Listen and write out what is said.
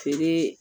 Feere